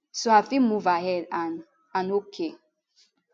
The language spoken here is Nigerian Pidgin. so i fit move ahead and and ok